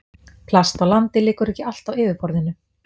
Plast á landi liggur ekki allt á yfirborðinu.